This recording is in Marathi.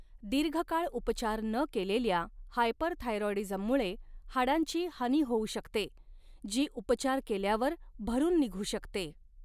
दीर्घकाळ उपचार न केलेल्या हायपरथायरॉईडीझममुळे हाडांची हानी होऊ शकते, जी उपचार केल्यावर भरून निघू शकते.